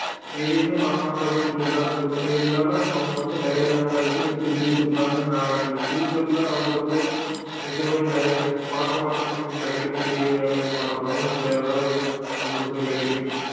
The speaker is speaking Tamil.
எதுவுமே பண்ண மாட்டேன் அப்படின்னு சொல்லி எல்லாரும் பேசுவாங்க இருந்தாலும் அவங்க வந்து நிறைய விஷயங்கள் தெரிஞ்சு வச்சிருப்பாங்க நாளைக்கு future லஅவங்களுக்கு இந்த சூழ்நிலைக்கு நிறைய பழக்க வழக்கம் கிடைக்கும் பெரிய அளவு பழக்க வழக்கம் இல்ல வேற ஏதாவது தொடர்புகள் கிடைக்கும்